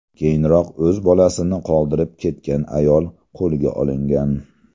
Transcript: Keyinroq o‘z bolasini qoldirib ketgan ayol qo‘lga olingan.